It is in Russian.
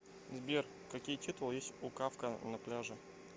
сбер какие титулы есть у кафка на пляже